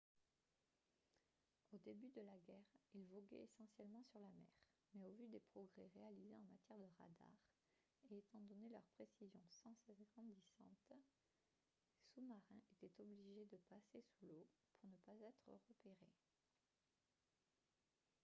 au début de la guerre ils voguaient essentiellement sur la mer mais au vu des progrès réalisés en matière de radars et étant donné leur précision sans cesse grandissante les sous-marins étaient obligé de passer sous l'eau pour ne pas être repérés